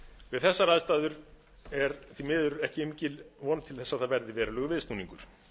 við þessar aðstæður er því miður ekki mikil von til þess að það verði verulegur viðsnúningur